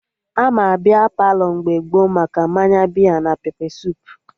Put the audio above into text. Ama Bia Palọ mgbe gboo maka mmanya bia na pepe suup